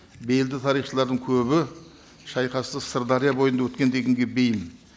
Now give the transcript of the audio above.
белді тарихшылардың көбі шайқасты сырдәрия бойында өткен дегенге бейім